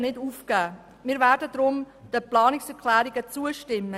Deshalb werden wir den Planungserklärungen zustimmen.